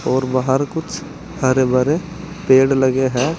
और बाहर कुछ हरे भरे पेड़ लगे है।